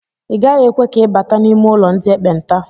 Agaghị ekwe ka ị bata n'ime ụlọ ndị ekpenta